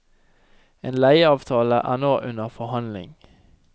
En leieavtale er nå under forhandling.